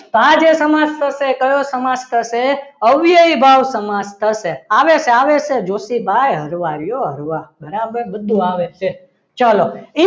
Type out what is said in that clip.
તો આજે સમાજ થશે એ કયો સમાસ થશે અવયવી ભાવ સમાસ થશે આવે છે આવે છે જોષી ભાઈ હળવા રો હરવા રહ્યો. બરાબર બધું આવે છે ચાલો